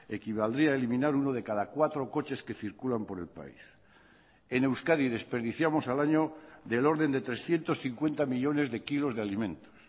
equivaldría eliminar uno de cada cuatro coches que circulan por el país en euskadi desperdiciamos al año del orden de trescientos cincuenta millónes de kilos de alimentos